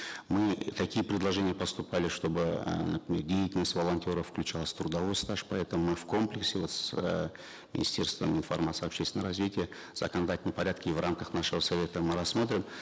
мы такие предложения поступали чтобы э например деятельность волонтеров включалась в трудовой стаж поэтому мы в комплексе вот с э министерством информации общественного развития в законодательном порядке и в рамках нашего совета мы рассмотрим